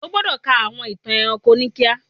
íwọ gbódọ kà àwọn ìtàn ẹranko nìkàn!